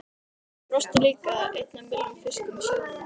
Ég brosti líka, einn af milljón fiskum í sjónum.